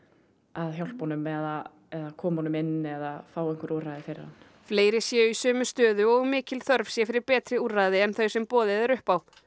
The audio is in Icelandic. að hjálpa honum eða koma honum inn eða fá einhver úrræði fyrir hann fleiri séu í sömu stöðu og mikil þörf sé fyrir betri úrræði en þau sem boðið er upp á